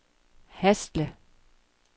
Hasle